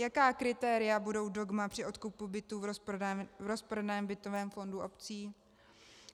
Jaká kritéria budou dogma při odkupu bytů v rozprodaném bytovém fondu obcí?